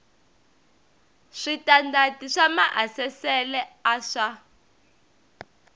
switandati swa maasesele a swa